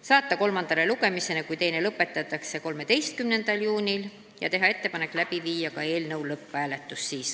saata eelnõu kolmandale lugemisele, kui teine lõpetatakse, 13. juuniks ja siis läbi viia ka lõpphääletus.